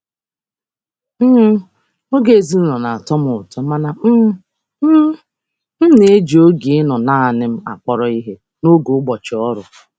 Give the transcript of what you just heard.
Ịnụ ụtọ oge ezinụlọ na-amasị m mana m jikwa oge ịnọrọ naanị m n'ụbọchị ọrụ n'akpọrọ ihe.